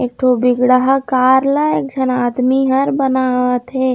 एक ठो बिगड़ हा कार ला एक झन आदमी ह बनावत हे।